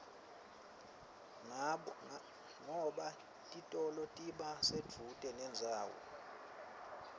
ngoba titolo tiba sedvute nendzawo